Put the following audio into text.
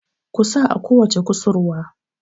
ku sa a kowace kusurwa!